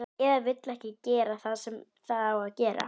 Eða vill ekki gera það sem það á að gera.